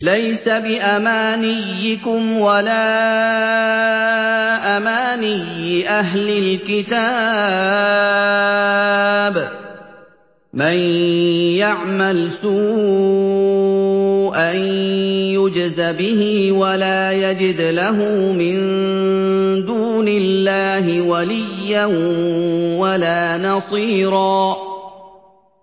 لَّيْسَ بِأَمَانِيِّكُمْ وَلَا أَمَانِيِّ أَهْلِ الْكِتَابِ ۗ مَن يَعْمَلْ سُوءًا يُجْزَ بِهِ وَلَا يَجِدْ لَهُ مِن دُونِ اللَّهِ وَلِيًّا وَلَا نَصِيرًا